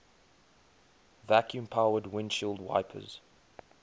vacuum powered windshield wipers